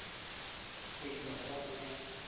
go e isa kwa go